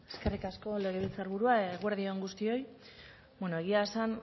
eskerrik asko legebiltzarburua eguerdi on guztioi egia esan